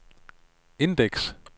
indeks